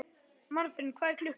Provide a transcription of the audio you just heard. Marthen, hvað er klukkan?